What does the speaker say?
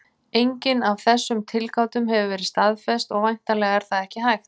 Engin af þessum tilgátum hefur verið staðfest, og væntanlega er það ekki hægt.